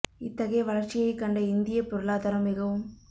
இத்தகைய வளர்ச்சியைக் கண்ட இந்தியப் பொருளாதாரம் மிகவும்